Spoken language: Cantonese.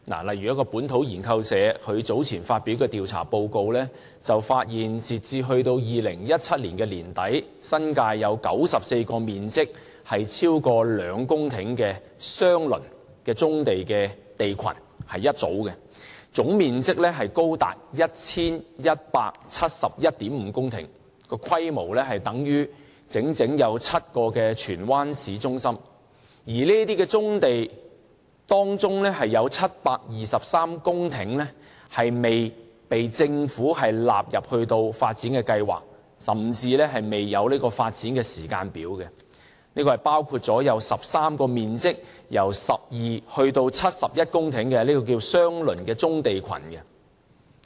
例如本土研究社早前發表的調查報告發現，截至2017年年底，新界有94個面積超過2公頃的相鄰棕地群，總面積高達 1,171.5 公頃，規模等於整整7個荃灣市中心；而在這些棕地之中，有723公頃未被政府納入發展計劃，甚至未有發展時間表，包括有13幅面積由12公頃至71公頃不等的相鄰棕地群。